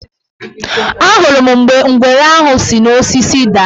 Ahụrụ m mgbe ngwere ahụ si n' osisi daa.